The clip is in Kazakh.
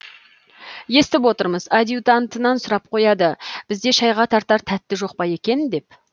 естіп отырмыз адъютантынан сұрап қояды бізде шайға тартар тәтті жоқ па екен деп